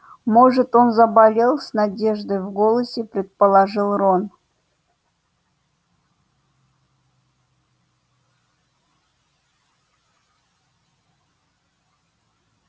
может он заболел с надеждой в голосе предположил рон